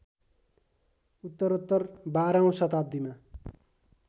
उत्तरोत्तर १२ औँ शताब्दीमा